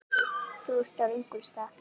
Þú ert á röngum stað